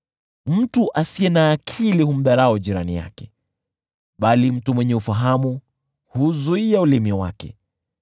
Mtu asiye na akili humdharau jirani yake, bali mtu mwenye ufahamu huuzuia ulimi wake.